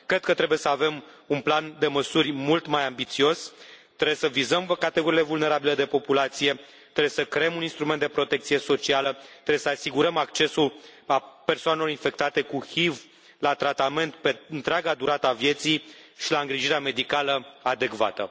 Cred că trebuie să avem un plan de măsuri mult mai ambițios, trebuie să vizăm categoriile vulnerabile de populație, trebuie să creăm un instrument de protecție socială, trebuie să asigurăm accesul persoanelor infectate cu HIV la tratament pe întreaga durată a vieții și la îngrijire medicală adecvată.